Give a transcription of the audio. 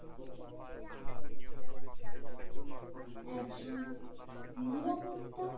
একজন নিরাপত্তা